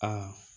Aa